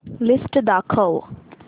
list दाखव